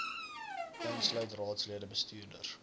insluit raadslede bestuurders